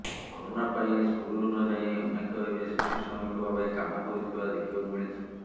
corona ପାଇଁ school ନଯାଇ ଅନେକ ଏବେ ଶିଶୁ ଶ୍ରମିକ ଭାବେ କାମ କରୁଥିବା ଦେଖିବାକୁ ମିଳିଛି